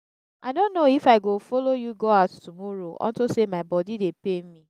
i no know if i go follow you go out tomorrow unto say my body dey pain me